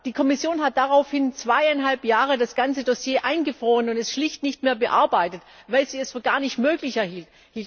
Die Kommission hat daraufhin zweieinhalb Jahre das ganze Dossier eingefroren und es schlicht nicht mehr bearbeitet, weil sie es für gar nicht möglich hielt.